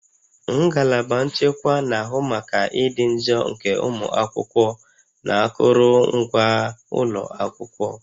Ngalaba nchekwa na-ahụ maka ịdị njọ nke ụmụ akwụkwọ na akụrụngwa ụlọ akwụkwọ